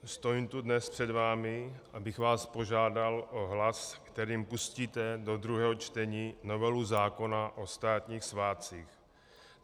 Stojím tu dnes před vámi, abych vás požádal o hlas, kterým pustíte do druhého čtení novelu zákona o státních svátcích.